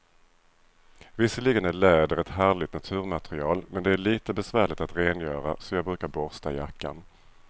Visserligen är läder ett härligt naturmaterial, men det är lite besvärligt att rengöra, så jag brukar borsta jackan.